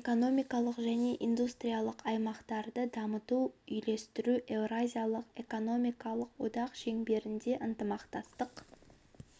экономикалық және индустриялық аймақтарды дамытуды үйлестіру еуразиялық экономикалық одақ шеңберінде ынтымақтастық